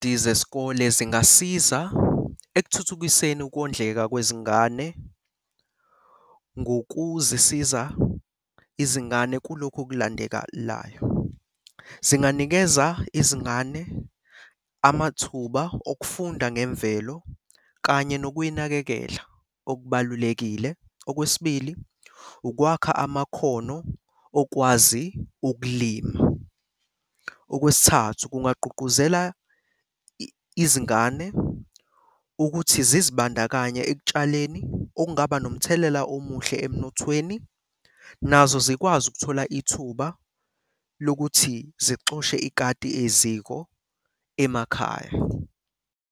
Zesikole zingasiza ekuthuthukiseni ukondleka kwezingane ngokuzisiza izingane kulokhu ukulandekalayo. Zinganikeza izingane amathuba okufunda ngemvelo kanye nokuyinakekela okubalulekile. Okwesibili, ukwakha amakhono okwazi ukulima. Okwesithathu, kungagqugquzela izingane ukuthi zizibandakanye ekutshaleni okungaba nomthelela omuhle emnothweni nazo zikwazi ukuthola ithuba lokuthi zixoshe ikhati eziko emakhaya.